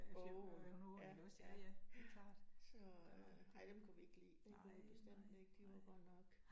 Af åen. Ja, ja, ja, så. Nej, dem kunne vi ikke lide, det kunne vi bestemt ikke, de var godt nok